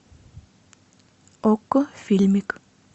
окко фильмик